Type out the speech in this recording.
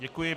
Děkuji.